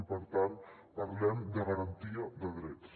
i per tant parlem de garantia de drets